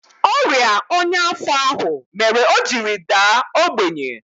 Ọrịa ọnya afọ ahụ mere o jiri daa ogbenye